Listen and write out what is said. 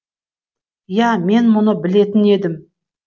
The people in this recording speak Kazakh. я мен мұны білетін едім